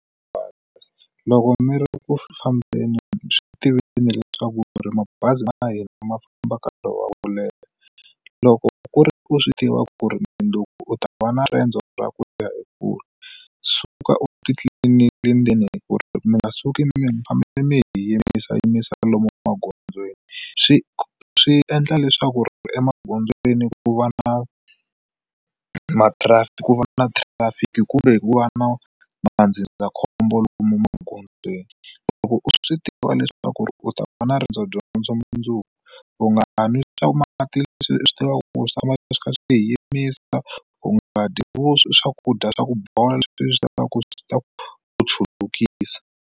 Bazi loko mi ri kufambeni byi tiveni leswaku ri mabazi ma hina ma famba nkarhi wa ku leha loko ku ri u swi tivaka ku ri mundzuku u ta va na riendzo ra ku liya hi kula suka u titliliniki ndzeni hi ku ri mi nga suki mi fanele mi yimisa yimisa lomu emagondzweni swi swi endla leswaku ri emagondzweni ku va na ma trafic ku vona na traffic kumbe ku va na va nga ndzindzakhombo lomu magondzweni loko u swi tiva leswaku u ta va na na riendzo dyondzo mundzuku u nga n'wi swaku mati leswi u swi tivaka ku swi tshama swi kha swi yimisa ku nga dyi vuswa i swakudya swa ku bola leswi u swi lavaka ku swi ta ku chulukisa.